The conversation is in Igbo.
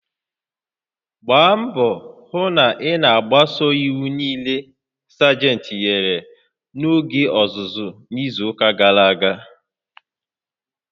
Gbaa mbọ hụ na ị na-agbaso iwu niile Sajentị nyere n'oge ọzụzụ n'izu gara aga!